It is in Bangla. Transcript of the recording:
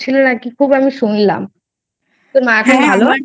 নাকি খুব আমি শুনলাম তোর মা এখন ভালো আছে?